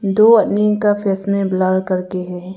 दो आदमी का फेस में ब्लर करके है।